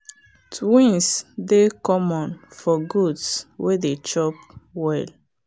twins dey common for goats way dey chop well.